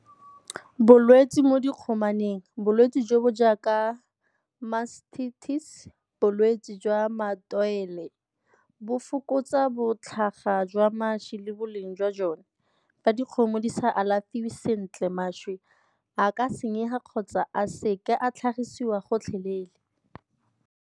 Bolwetse mo dikgomaneng, bolwetse jo bo jaaka bolwetse jwa bo fokotsa botlhaga jwa mašwi le boleng jwa jone. Fa dikgomo di sa alafiwe sentle, mašwi a ka senyega kgotsa a seka a tlhagisiwa gotlhelele.